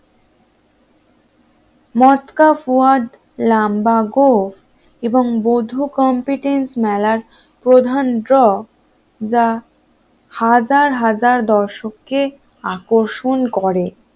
মটকা ফোয়া্দ লম্বা গোঁফ এবং বধু কমপ্লিটেন্স মেলার প্রধান ড্র যা হাজার হাজার দর্শককে আকর্ষণ করে